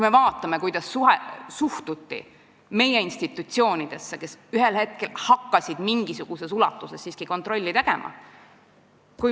Vaatame, kuidas suhtuti meie institutsioonidesse, kes ühel hetkel hakkasid mingisuguses ulatuses siiski kontrolli tegema.